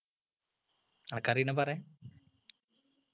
അനക്കറിയുന്ന പറ